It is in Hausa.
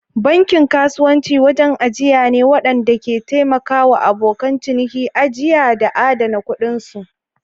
Bankin kasuwanci wajen ajiya ne waɗanda ke taimaka wa abokan ciniki ajiya da adana kuɗinsu.